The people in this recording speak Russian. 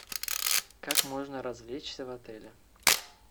как можно развлечься в отеле